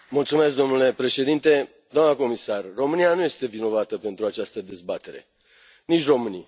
Domnule președinte, doamnă comisar, România nu este vinovată pentru această dezbatere, nici românii.